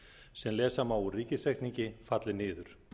sem lesa má úr ríkisreikningi falli niður